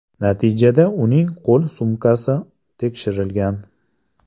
Natijada uning qo‘l sumkasi tekshirilgan.